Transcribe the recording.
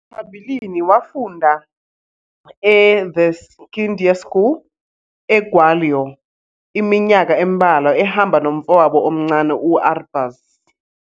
Phambilini wafunda eThe Scindia School, eGwalior iminyaka embalwa ehamba nomfowabo omncane u-Arbaaz.